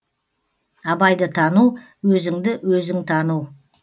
абайды тану өзіңді өзің тану